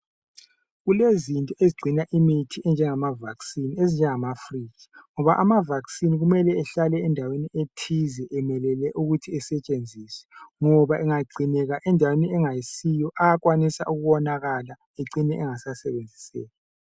Kulezinto ezigcina imithi enjengama vaccine ezinjengama fridge ngoba ama vaccine kumele ahlale endaweni ethize emelele ukuthi esetshenziswe ngoba engagcineka endaweni engayisiyo uyakwanisa ukuwonakala ecine engasasebenziseki.